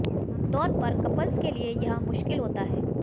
आमतौर पर कपल्स के लिए यह मुश्किल होता है